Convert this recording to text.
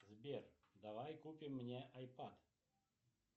сбер давай купим мне айпад